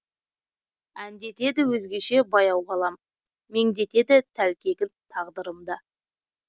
әндетеді өзгеше баяу ғалам меңдетеді тәлкегін тағдырым да